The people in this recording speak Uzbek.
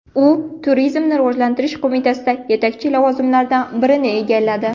U Turizmni rivojlantirish qo‘mitasida yetakchi lavozimlardan birini egalladi.